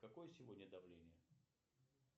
какое сегодня давление